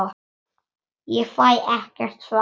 Ég fæ ekkert svar.